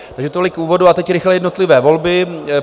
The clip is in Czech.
Takže tolik k úvodu a teď rychle jednotlivé volby.